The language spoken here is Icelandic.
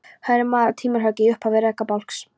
Hér er maður að timburhöggi í upphafi rekabálks.